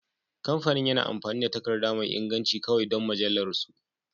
Kamfanin yana amfani da takarda mai inganci kawai don mujallunsu